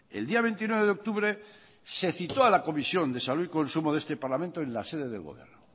el día veintinueve de octubre se citó a la comisión de salud y consumo de este parlamento en la sede del gobierno